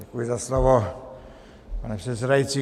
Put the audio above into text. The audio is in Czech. Děkuji za slovo, pane předsedající.